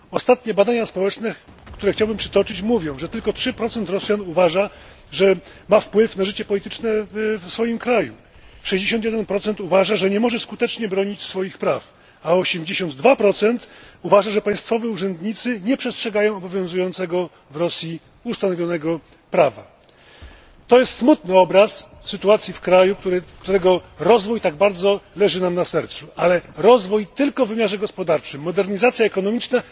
Ostatnie badania społeczne, które chciałbym przytoczyć, mówią, że tylko 3 Rosjan uważa, że ma wpływ na życie polityczne w swoim kraju, 61 uważa, że nie może skutecznie bronić swoich praw, a 82 uważa, że państwowi uczestnicy nie przestrzegają obowiązującego ustanowionego w Rosji prawa. To jest smutny obraz sytuacji w kraju, którego rozwój tak bardzo leży nam na sercu, ale rozwój tylko w wymiarze gospodarczym, modernizacja ekonomiczna